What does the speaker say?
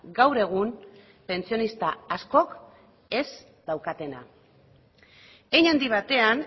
gaur egun pentsionista askok ez daukatena hein handi batean